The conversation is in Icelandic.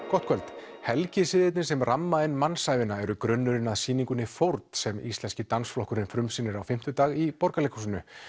gott kvöld helgisiðirnir sem ramma inn mannsævina eru grunnurinn að sýningunni fórn sem Íslenski dansflokkurinn frumsýnir á fimmtudag í Borgarleikhúsinu